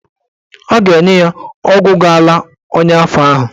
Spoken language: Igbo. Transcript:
Ọ ga-enye ya ọgwụ ga-ala ọnya afọ ahụ.